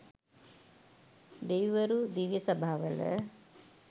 දෙවිවරු දිව්‍ය සභාවල